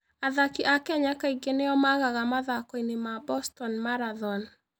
Athaki a Kenya kaingĩ nĩo magaga mathako-inĩ ma Boston Marathon.